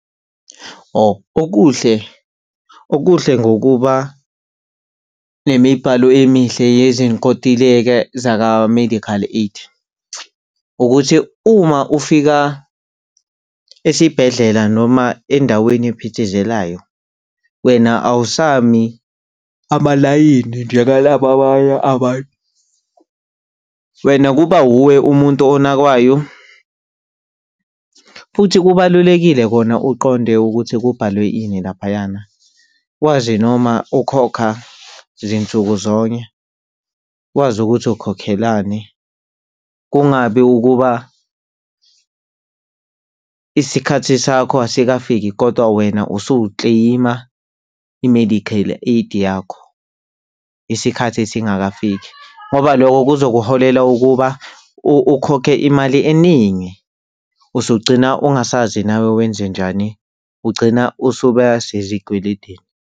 Oh, okuhle okuhle ngokuba nemibhalo emihle yezinkontileka zaka-medical aid ukuthi uma ufika esibhedlela noma endaweni ephithizelayo, wena awusami amalayini njengalaba abanye abantu. Wena kuba wuwe umuntu onakwayo. Futhi kubalulekile kona uqonde ukuthi kubhalwe ini laphayana, wazi noma ukhokha zinsuku zonke, wazi ukuthi ukukhokhelani. Kungabi ukuba isikhathi sakho asikafiki kodwa wena usukleyima i-medical aid yakho isikhathi singakafiki, ngoba lokho kuzokuholela ukuba ukhokhe imali eningi usugcina ungasazi nawe wenzenjani. Ugcina usuba sezikweledini.